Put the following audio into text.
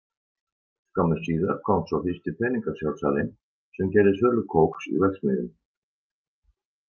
Skömmu síðar kom svo fyrsti peningasjálfsalinn sem gerði sölu kóks í verksmiðjum.